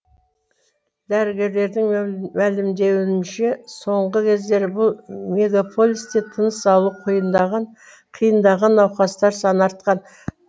дәрігерлердің мәлімдеуінше соңғы кездері бұл мегаполисте тыныс алуы қиындаған науқастар саны артқан